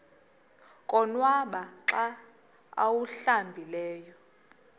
konwaba xa awuhlambileyo